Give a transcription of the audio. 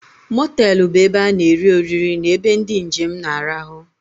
Motelú bụ ebe ana eri oriri na-ebe ndị njem na-arahu.